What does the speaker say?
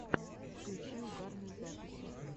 включи угарные записи